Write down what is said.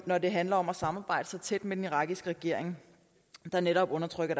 når det handler om at samarbejde så tæt med den irakiske regering der netop undertrykker